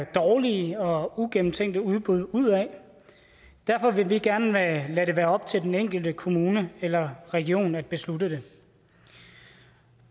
dårlige og uigennemtænkte udbud ud af derfor vil vi gerne lade det være op til den enkelte kommune eller region at beslutte det